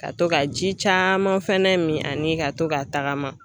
Ka to ka ji caman fɛnɛ min ani ka to ka tagama.